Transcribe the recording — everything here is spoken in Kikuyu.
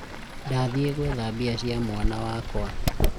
ndathiĩ gũetha mbia mwana wakwa